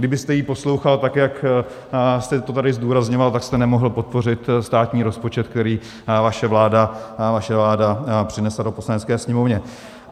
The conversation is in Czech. Kdybyste ji poslouchal, tak jak jste to tady zdůrazňoval, tak jste nemohl podpořit státní rozpočet, který vaše vláda přinesla do Poslanecké sněmovny.